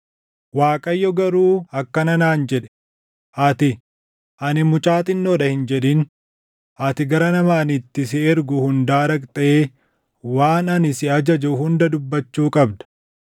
Waaqayyo garuu akkana naan jedhe; “Ati, ‘Ani mucaa xinnoo dha’ hin jedhin. Ati gara nama ani itti si ergu hundaa dhaqxee waan ani si ajaju hunda dubbachuu qabda.